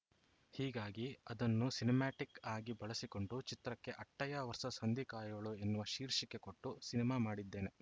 ಹೀಗಾಗಿ ಅದನ್ನು ಸಿನಿಮ್ಯಾಟಿಕ್‌ ಆಗಿ ಬಳಸಿಕೊಂಡು ಚಿತ್ರಕ್ಕೆ ಅಟ್ಟಯ್ಯ ವರ್ಸಸ್‌ ಹಂದಿ ಕಾಯೋಳು ಎನ್ನುವ ಶೀರ್ಷಿಕೆ ಕೊಟ್ಟು ಸಿನಿಮಾ ಮಾಡಿದ್ದೇನೆ